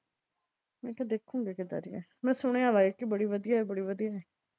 ਮੈਂ ਕਿਹਾ ਦੇਖੂੰਗੀ ਕਿੱਦਾਂ ਦੀ ਆ। ਮੈਂ ਸੁਣਿਆ ਐ ਕਿ ਬੜੀ ਵਧੀਆ ਏ ਬੜੀ ਵਧੀਆ ਏ।